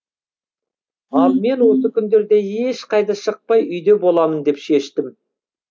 ал мен осы күндерде ешқайда шықпай үйде боламын деп шештім